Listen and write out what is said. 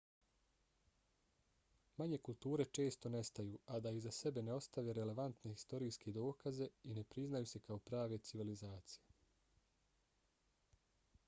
manje kulture često nestaju a da iza sebe ne ostave relevantne historijske dokaze i ne priznaju se kao prave civilizacije